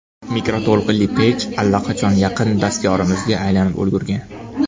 Mikroto‘lqinli pech allaqachon yaqin dastyorimizga aylanib ulgurgan.